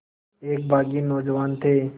एक बाग़ी नौजवान थे